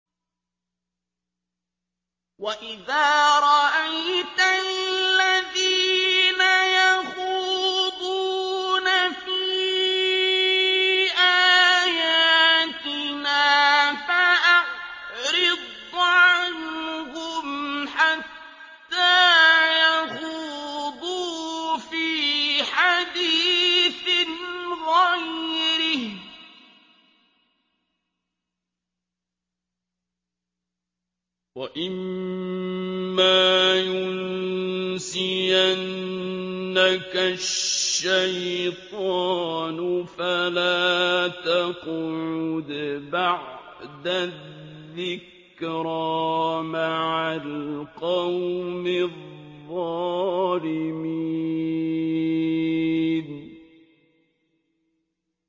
وَإِذَا رَأَيْتَ الَّذِينَ يَخُوضُونَ فِي آيَاتِنَا فَأَعْرِضْ عَنْهُمْ حَتَّىٰ يَخُوضُوا فِي حَدِيثٍ غَيْرِهِ ۚ وَإِمَّا يُنسِيَنَّكَ الشَّيْطَانُ فَلَا تَقْعُدْ بَعْدَ الذِّكْرَىٰ مَعَ الْقَوْمِ الظَّالِمِينَ